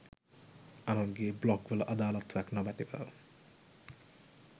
අනුන්ගේ බ්ලොග් වල අදාලත්වයක් නොමැතිව